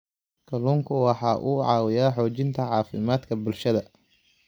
Kalluunku waxa uu caawiyaa xoojinta caafimaadka bulshada.